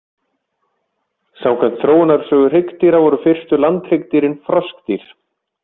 Samkvæmt þróunarsögu hryggdýra, voru fyrstu landhryggdýrin froskdýr.